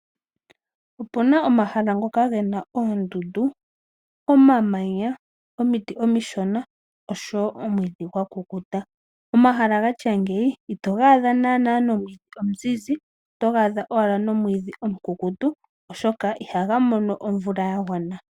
Opuna omashala ngoka Gena oondundu, omamanya ,omiti omishona oshowo omwidhi gwa kukuta. Omashala gatya ngino ito ga adha nomiti omizizi otoga adha owala nomwidi omukukutu oshoka ihaga mono omvula ya gwana